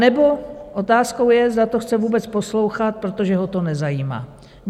Anebo otázkou je, zda to chce vůbec poslouchat, protože ho to nezajímá.